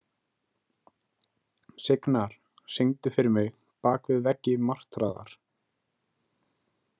Signar, syngdu fyrir mig „Bak við veggi martraðar“.